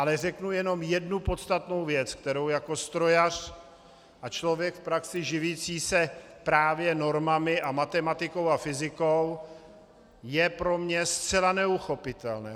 Ale řeknu jenom jednu podstatnou věc, kterou jako strojař a člověk v praxi živící se právě normami a matematikou a fyzikou, je pro mě zcela neuchopitelné.